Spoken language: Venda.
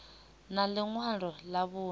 na ḽi ṅwalo ḽa vhuṋe